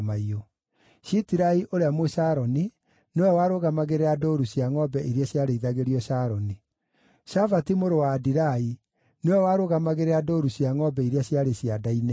Shitirai ũrĩa Mũsharoni nĩwe warũgamagĩrĩra ndũũru cia ngʼombe iria ciarĩithagio Sharoni. Shafati mũrũ wa Adilai nĩwe warũgamagĩrĩra ndũũru cia ngʼombe iria ciarĩ cianda-inĩ.